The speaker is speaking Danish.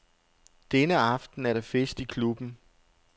Denne aften er der fest i klubben.